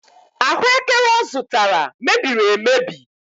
Ahụekere ọ zụtara mebiri emebi.